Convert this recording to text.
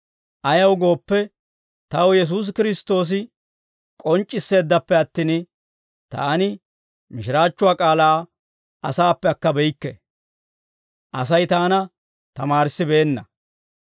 Ayaw gooppe, taw Yesuusi Kiristtoosi k'onc'c'isseeddappe attin, taani mishiraachchuwaa k'aalaa asaappe akkabeyikke; Asay taana tamaarissibeenna.